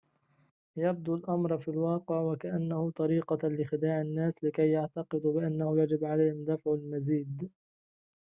يبدو الأمر في الواقع وكأنه طريقة لخداع الناس لكي يعتقدوا بأنه يجب عليهم دفع المزيد